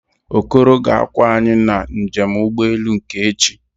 Okoro ga-akwọ anyị na njem ụgbọelu nke echi